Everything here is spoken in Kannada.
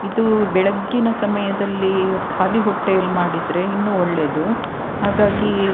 ಇದು ಬೆಳಗ್ಗಿನ ಸಮಯದಲ್ಲಿ ಖಾಲಿ ಹೊಟ್ಟೆಯಲ್ಲಿ ಮಾಡಿದ್ರೆ ಇನ್ನು ಒಳ್ಳೇದು ಹಾಗಾಗಿ --